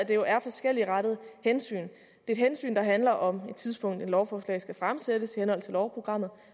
jo er forskelligartede hensyn der et hensyn der handler om et tidspunkt hvor et lovforslag skal fremsættes i henhold til lovprogrammet og